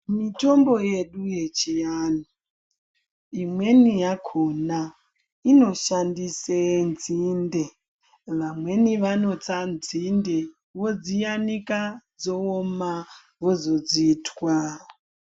Mitombo yedu yechiantu, imweni yakhona inoshandise nzinde. Vamweni vanotsa nzinde vodziyanika dzooma, vozodzitwa.